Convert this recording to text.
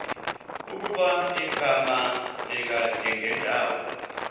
ukuba igama likadingindawo